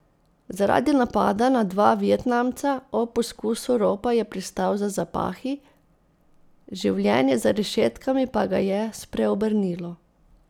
Zaradi napada na dva Vietnamca ob poskusu ropa je pristal za zapahi, življenje za rešetkami pa ga je spreobrnilo.